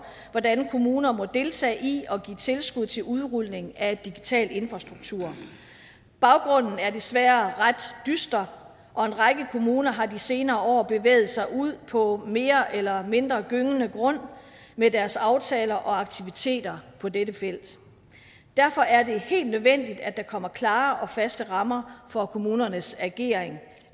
hvordan kommuner må deltage i og give tilskud til udrulning af digital infrastruktur baggrunden er desværre ret dyster og en række kommuner har i de senere år bevæget sig ud på mere eller mindre gyngende grund med deres aftaler og aktiviteter på dette felt derfor er det helt nødvendigt at der kommer klare og faste rammer for kommunernes ageren